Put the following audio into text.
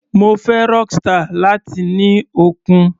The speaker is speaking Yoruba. Mo fẹ́ Rockstar, láti ní okun.